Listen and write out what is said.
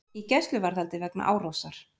Í gæsluvarðhaldi vegna árásar